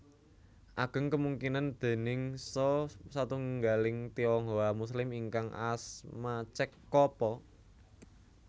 Ageng kemungkinan déningsa satunggaling Tionghoa Muslim ingkang asma Cek Ko po